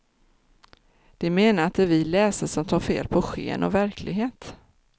De menar att det är vi läsare som tar fel på sken och verklighet.